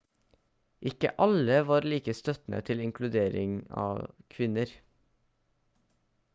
ikke alle var like støttende til inkluderingen av kvinner